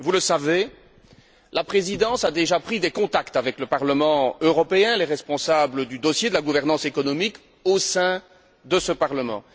Vous le savez, la Présidence a déjà pris des contacts avec le Parlement européen, avec les responsables du dossier de la gouvernance économique au sein de ce Parlement.